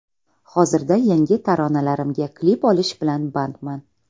Hozirda yangi taronalarimga klip olish bilan bandman.